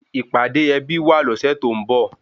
Ìpàdé ẹbí wà lọ́sẹ̀ tó ń bọ̀